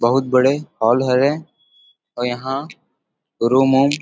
बहुत बड़े हॉल हरे औउ यहाँ रूम -उम्म --